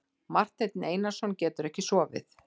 Marteinn Einarsson getur ekki sofið.